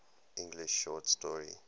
english short story